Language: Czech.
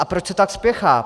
A proč se tak spěchá?